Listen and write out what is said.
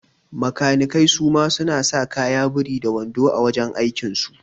Makanikai suma suna sa kaya biri da wando a wajan aikin so